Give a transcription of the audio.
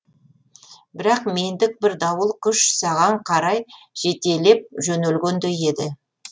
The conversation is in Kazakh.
бірақ мендік бір дауыл күш саған қарай жетелеп жөнелгендей еді